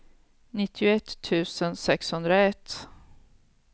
nittioett tusen sexhundraett